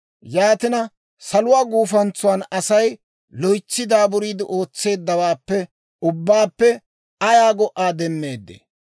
Yaatina, saluwaa gufantsan Asay loytsi daaburiide ootseeddawaappe ubbaappe ayaa go"aa demmeeddee?